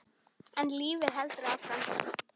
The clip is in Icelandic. En lífið heldur áfram.